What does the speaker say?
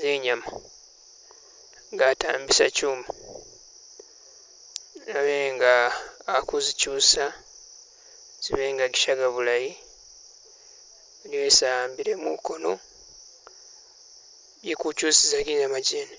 zinyama nga atambisa kyuma, Abe nga aku zikyusa zibe nga zishaga bulayi, bino bisi a'mbile mukono byeku kyusiza ginyama kyene